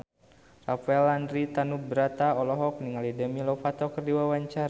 Rafael Landry Tanubrata olohok ningali Demi Lovato keur diwawancara